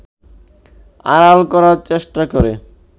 আড়াল করার চেষ্টা করে